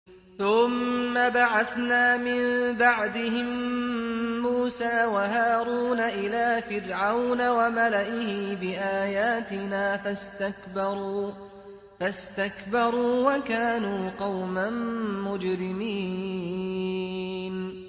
ثُمَّ بَعَثْنَا مِن بَعْدِهِم مُّوسَىٰ وَهَارُونَ إِلَىٰ فِرْعَوْنَ وَمَلَئِهِ بِآيَاتِنَا فَاسْتَكْبَرُوا وَكَانُوا قَوْمًا مُّجْرِمِينَ